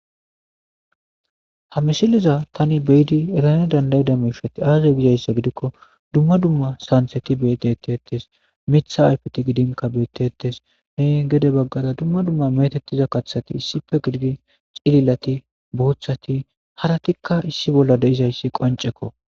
Ha misileza Tani beyda erana danda'ida mishati aaze gizaysa gidikon dumma dumma santheti lo'i betetesi, Mitha haytheti gidinka beetetesi, gede bagara dumma dumma metetiza kathati issipe gidid cililati , boothati haratika issi bolla de'izaysi qoncekko.